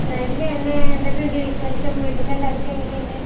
നല്ലത് തന്നെ. എന്തൊക്കെയുണ്ട് വിശേഷം? വീട്ടിൽ എല്ലാവർക്കും എങ്ങനെയുണ്ട്?